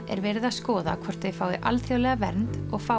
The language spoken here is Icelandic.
er verið skoða hvort þau fái alþjóðlega vernd og fái